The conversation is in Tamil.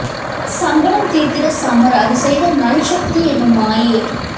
சங்கடம் தீர்த்திட சமர் அது செய்த நல் சக்தி எனும் மாயே